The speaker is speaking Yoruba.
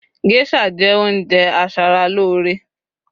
geisha je ounjẹ asaralore